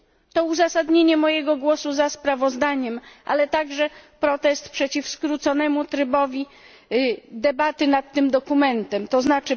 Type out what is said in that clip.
To uzasadnienie mojego głosu za sprawozdaniem, ale także protest przeciw skróconemu trybowi debaty nad tym dokumentem, tzn.